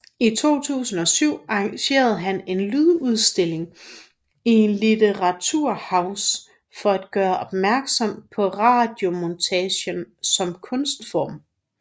I 2007 arrangerede han en en lydudstilling i Literaturhaus for at gøre opmærksom på radiomontagen som kunstform